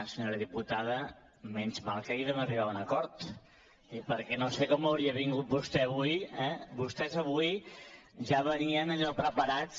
senyora diputada menys mal que ahir vam arribar a un acord perquè no sé com hauria vingut vostè avui eh vostès avui ja venien allò preparats